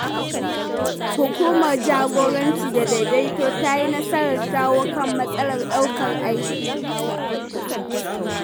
Hukumar Jagoranci da Daidaito ta yi nasarar shawo kan matsalar ɗaukar aiki.